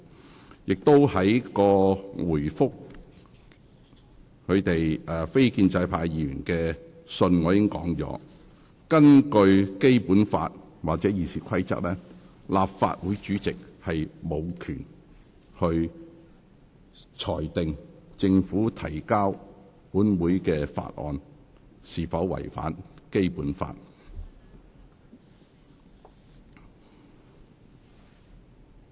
我亦在回覆非建制派議員的信件中提到，根據《基本法》或《議事規則》，立法會主席無權裁定政府提交本會的法案是否違反《基本法》。